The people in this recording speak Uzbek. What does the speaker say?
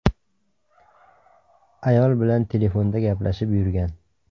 Ayol bilan telefonda gaplashib yurgan.